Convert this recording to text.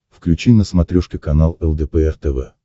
включи на смотрешке канал лдпр тв